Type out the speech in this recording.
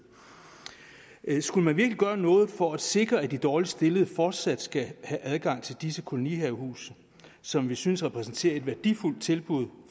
skulle man virkelig gøre noget for at sikre at de dårligst stillede fortsat skal have adgang til disse kolonihavehuse som vi synes repræsenterer et værdifuldt tilbud